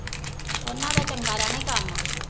ਓਹਨਾ ਦਾ ਚੰਗਾ ਰਹਿਣਾ ਈ ਕੰਮ।